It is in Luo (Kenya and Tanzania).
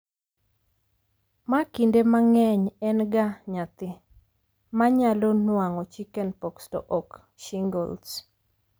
ma kinde mang'eny en ga nyathi, ma nyalo nuang'o chickenpox to ok shingles